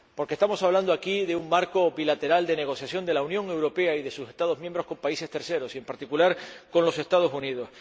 Porque estamos hablando aquí de un marco bilateral de negociación de la Unión Europea y de sus Estados miembros con terceros países y, en particular, con los Estados Unidos.